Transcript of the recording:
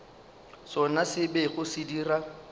sona se bego se dira